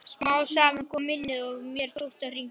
Smám saman kom minnið og mér tókst að hringja.